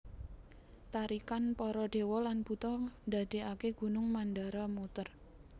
Tarikan para dewa lan buta ndadekaké Gunung Mandara muter